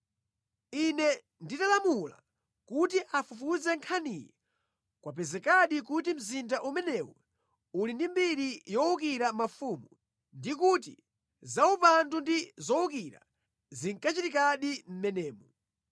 Ine nditalamula kuti afufuze nkhaniyi kwapezekadi kuti mzinda umenewu uli ndi mbiri yowukira mafumu ndi kuti zaupandu ndi zowukira zinkachitikadi mʼmenemo.